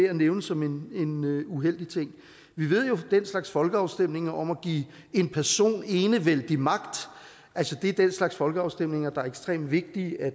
at nævne som en uheldig ting vi ved jo fra den slags folkeafstemninger om at give en person enevældig magt at det er den slags folkeafstemninger der er ekstremt vigtige at